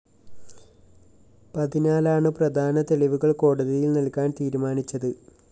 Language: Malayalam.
അതിനാലാണു പ്രധാന തെളിവുകള്‍ കോടതിയില്‍ നല്‍കാന്‍ തീരുമാനിച്ചത്